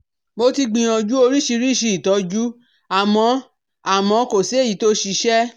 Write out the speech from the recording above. Mo ti gbìyànjú oríṣiríṣi ìtọ́jú àmọ́ àmọ́ kò sí èyí tó ṣiṣẹ́